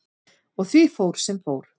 Og því fór sem fór.